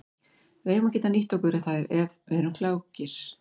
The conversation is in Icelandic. Við eigum að geta nýtt okkur þær ef við erum klókir.